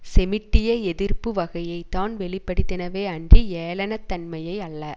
செமிடிய எதிர்ப்பு வகையைத்தான் வெளிப்படுத்தினவே அன்றி ஏளனத்தன்மையை அல்ல